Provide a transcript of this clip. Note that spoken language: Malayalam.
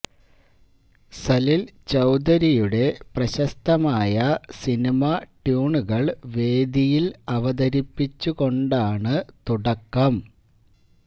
സലില് ചൌധരിയുടെ പ്രശസ്തമായ സിനിമാ ട്യൂണുകള് വേദിയില് അവതരിപ്പിച്ചു കൊണ്ടാണ് തുടക്കം